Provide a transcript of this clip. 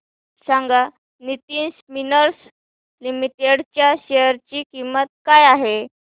सांगा Nitin spinners limited च्या share ची किंमत काय आहे